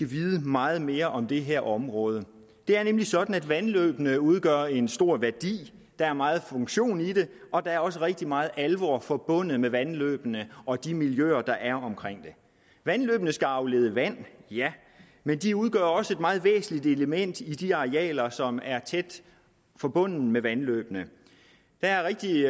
vide meget mere om det her område det er nemlig sådan at vandløbene udgør en stor værdi der er meget funktion dem og der er også rigtig meget alvor forbundet med vandløbene og de miljøer der er omkring dem vandløbene skal aflede vand ja men de udgør også et meget væsentligt element i de arealer som er tæt forbundet med vandløbene der er rigtig